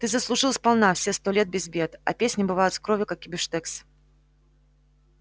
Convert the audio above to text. ты заслужил сполна все сто лет без бед а песни бывают с кровью как и бифштекс